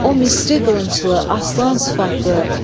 O Misri qılınclı aslan sifətdi.